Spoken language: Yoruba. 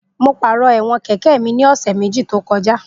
Mo pàrọ̀ ẹ̀wọ̀n kẹ̀kẹ́ mi ní ọ̀sẹ̀ méjì tó kọjá